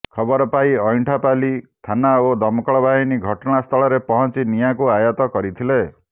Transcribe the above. ଖବର ପାଇ ଅଇଁଠାପାଲି ଥାନା ଓ ଦମକଳ ବାହିନୀ ଘଟଣାସ୍ଥଳରେ ପହଞ୍ଚି ନିଆଁକୁ ଆୟତ କରିଥିଲେ